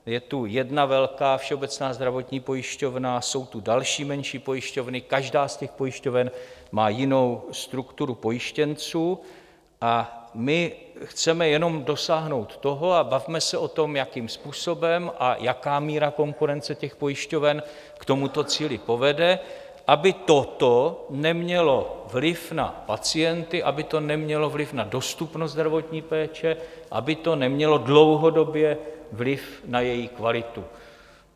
Je tu jedna velká Všeobecná zdravotní pojišťovna, jsou tu další menší pojišťovny, každá z těch pojišťoven má jinou strukturu pojištěnců, a my chceme jenom dosáhnout toho - a bavme se o tom, jakým způsobem a jaká míra konkurence těch pojišťoven k tomuto cíli povede - aby toto nemělo vliv na pacienty, aby to nemělo vliv na dostupnost zdravotní péče, aby to nemělo dlouhodobý vliv na její kvalitu.